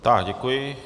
Tak děkuji.